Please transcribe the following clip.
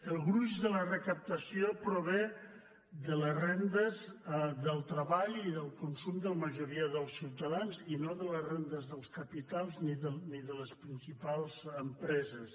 el gruix de la recaptació prové de les rendes del treball i del consum de la majoria dels ciutadans i no de les rendes dels capitals ni de les principals empreses